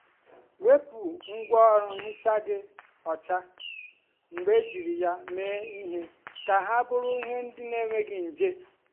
wepu um ngwaọrụ nhicha gị ọcha mgbe ejiri um ya mee ihe ka ha bụrụ ndị na-enweghị nje.